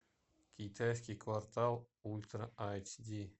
китайский квартал ультра айч ди